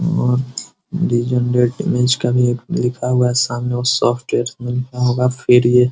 और का भी एक लिखा हुआ है सामने सॉफ्टवेयर से लिखा होगा फिर ये |